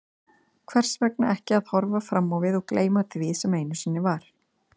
Hvers vegna ekki að horfa fram á við og gleyma því sem einu sinni var?